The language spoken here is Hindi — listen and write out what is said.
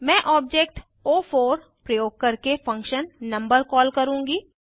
मैं ऑब्जेक्ट ओ4 प्रयोग करके फंक्शन नंबर कॉल करुँगी